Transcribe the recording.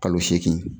Kalo seegin